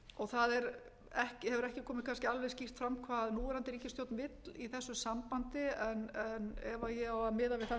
klofin það hefur ekki komið kannski alveg skýrt fram hvað núverandi ríkisstjórn vill í þessu sambandi en ef ég á að miða við það sem